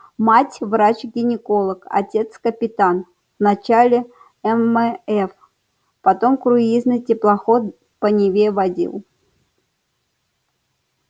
мать врач-гинеколог отец капитан вначале ммф потом круизный теплоход по неве водил